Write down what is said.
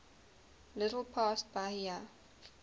little past bahia